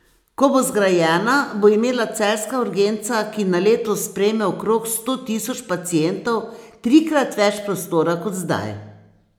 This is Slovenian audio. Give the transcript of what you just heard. Ko bo zgrajena, bo imela celjska urgenca, ki na leto sprejme okrog sto tisoč pacientov, trikrat več prostora kot zdaj.